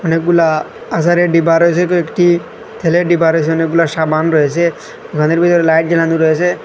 অনেকগুলা আচারের ডিব্বা রয়েসে কয়েকটি তেলের ডিব্বা রয়েছে অনেক গুলা সাবান রয়েসে দোকানের ভিতর লাইট জ্বালানো রয়েসে।